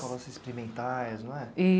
Escolas experimentais, não é?